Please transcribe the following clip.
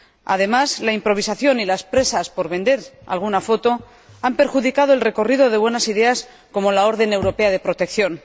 Además, la improvisación y las prisas por vender alguna foto han perjudicado el recorrido de buenas ideas, como la orden europea de protección.